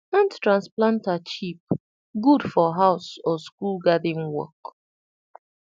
hand transplanter cheap good for house or school garden work